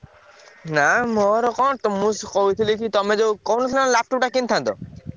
ନା ମୋର କଣ ତ ମୁଁ କହିଥିଲି କି ତମେ ଯୋଉ କହୁନଥିଲ laptop ଟା କିଣିଥାନ୍ତ।